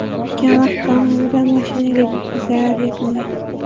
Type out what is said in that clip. O‘tgan vaqt davomida mashinaga jiddiy zarar yetmagan.